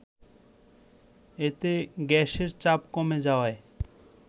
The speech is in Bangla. এতে গ্যাসের চাপ কমে যাওয়ায়